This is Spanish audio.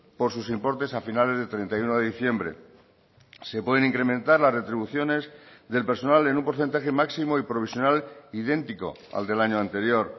por sus importes a finales del treinta y uno de diciembre se pueden incrementar las retribuciones del personal en un porcentaje máximo y provisional idéntico al del año anterior